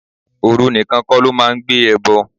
Ooru nìkan kó lọ máa ń gbé ẹbọ.